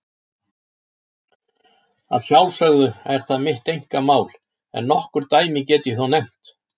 Að sjálfsögðu er það mitt einkamál, en nokkur dæmi get ég þó nefnt.